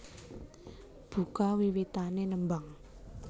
Buka wiwitané nembang